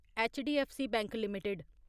HDFC bank limited